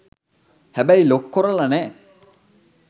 හැබැයි ලොක් කොරලා නෑ.